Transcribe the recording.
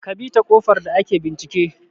Kabita ƙofar da ake bincike